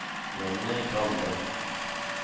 Jonny Grande